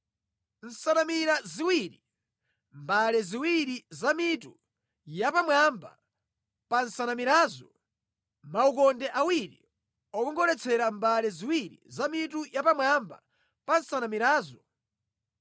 Nsanamira ziwiri; mbale ziwiri za mitu yapamwamba pa nsanamirazo; maukonde awiri okongoletsera mbale ziwiri za mitu yapamwamba pa nsanamirazo;